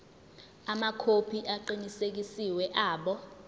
amakhophi aqinisekisiwe abo